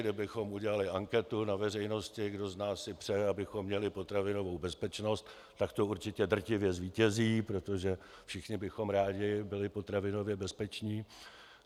Kdybychom udělali anketu na veřejnosti, kdo z nás si přeje, abychom měli potravinovou bezpečnost, tak to určitě drtivě zvítězí, protože všichni bychom rádi byli potravinově bezpeční.